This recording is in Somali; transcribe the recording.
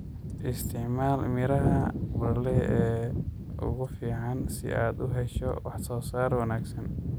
Isticmaal miraha broiler ee ugu fiican si aad u hesho wax soo saar wanaagsan.